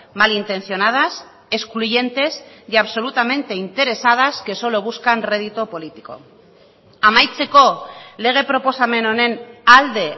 malintencionadas excluyentes y absolutamente interesadas que solo buscan rédito político amaitzeko lege proposamen honen alde